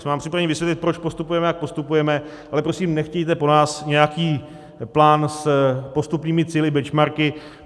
Jsme vám připraveni vysvětlit, proč postupujeme, jak postupujeme, ale prosím, nechtějte po nás nějaký plán s postupnými cíli, benchmarky.